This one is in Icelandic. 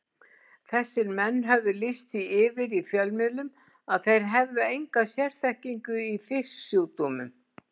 Þessir menn höfðu lýst því yfir í fjölmiðlum að þeir hefðu enga sérþekkingu í fisksjúkdómum.